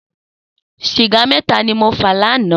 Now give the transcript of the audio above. Sìgá mètá ni mó fà lànã